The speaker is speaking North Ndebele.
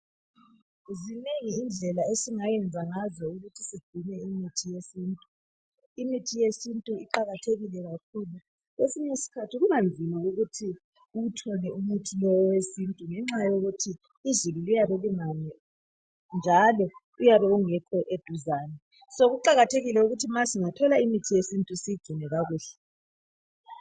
Zinengi indlela esingayenza ngazo ukuthi sigcine imithi yesintu. Imithi yesintu iqakathekile kakhulu. Kwesinye isikhathi kuba nzima ukuthi uwuthole lumuthi wesintu ngenxa yokuthi izulu liyabe lingani njalo uyabe ungekho eduzane. Kuqakathekile ukuthi ma singathola imithi yesintu siyigcine kakuhle.